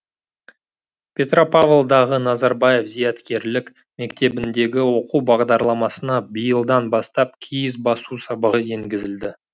петропавлдағы назарбаев зияткерлік мектебіндегі оқу бағдарламасына биылдан бастап киіз басу сабағы енгізілді